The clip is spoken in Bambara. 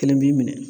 Kelen b'i minɛ